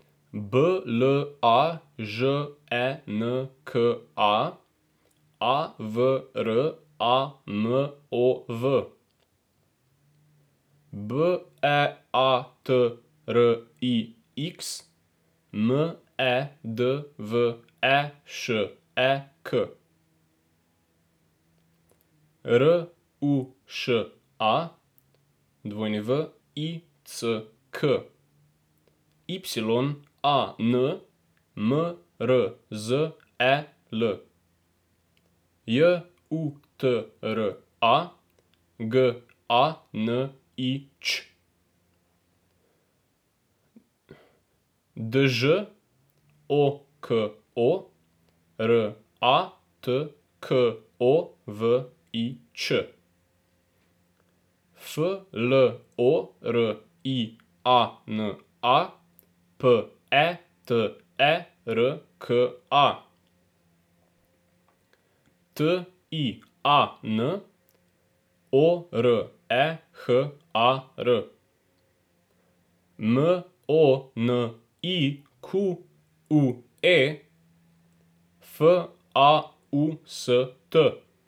B L A Ž E N K A, A V R A M O V; B E A T R I X, M E D V E Š E K; R U Š A, W I C K; Y A N, M R Z E L; J U T R A, G A N I Ć; Đ O K O, R A T K O V I Č; F L O R I A N A, P E T E R K A; T I A N, O R E H A R; M O N I Q U E, F A U S T.